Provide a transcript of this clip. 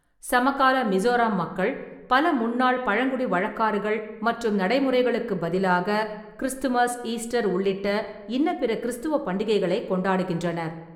சமகால மிசோராம் மக்கள் பல முன்னாள் பழங்குடி வழக்காறுகள் மற்றும் நடைமுறைகளுக்குப் பதிலாக கிறிஸ்துமஸ், ஈஸ்டர் உள்ளிட்ட இன்னபிற கிறிஸ்துவ பண்டிகைகளைக் கொண்டாடுகின்றனர்.